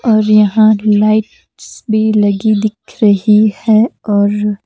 और यहाँ लाइट्स भी लगी दिख रही है और--